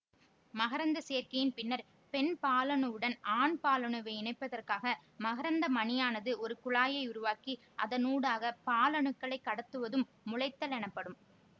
மகரந்தச் சேர்க்கையின் பின்னர் பெண் பாலணுவுடன் ஆண் பாலணுவை இணைப்பதற்காக மகரந்த மணியானது ஒரு குழாயை உருவாக்கி அதனூடாக பாலணுக்களைக் கடத்துவதும் முளைத்தல் எனப்படும்